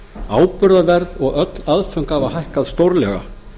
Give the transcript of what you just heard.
áburðarverð og öll aðföng hafa hækkað stórlega